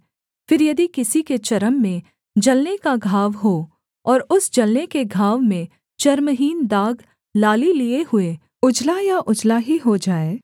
फिर यदि किसी के चर्म में जलने का घाव हो और उस जलने के घाव में चर्महीन दाग लाली लिये हुए उजला या उजला ही हो जाए